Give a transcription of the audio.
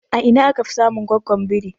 A ina aka fi samun goggon biri?